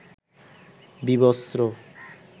বিবস্ত্র